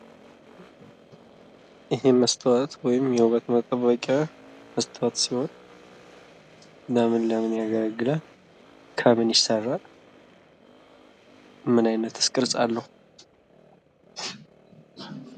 ይሄ መስታወት ወይም የውበት መጠበቂያ መስታወት ሲሆን ለምን ለምን ያገለግላል? ከምን ይሰራል? ምን አይነትስ ቅርጽ አለው?